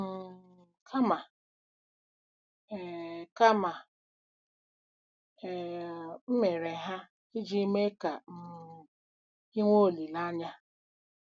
um Kama, e Kama, e um mere ha iji mee ka um i nwee olileanya.